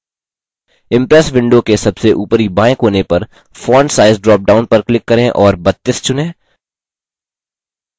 impress window के सबसे ऊपरी बाएँ कोने पर font size dropdown पर click करें और 32 चुनें